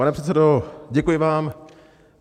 Pane předsedo, děkuji vám.